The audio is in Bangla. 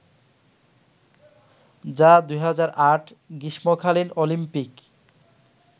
যা ২০০৮ গ্রীষ্মকালীন অলিম্পিক